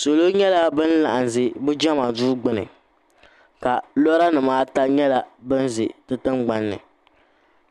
Salo nyɛla bini laɣim zɛ bi Jɛma duu gbuni ka lɔra nima ata nyɛla bini zɛ di tiŋgbani ni